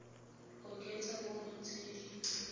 oketsa mo go tse di